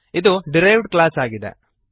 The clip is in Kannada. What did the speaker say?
ಇದು ಡಿರೈವ್ಡ್ ಕ್ಲಾಸ್ ಆಗಿದೆ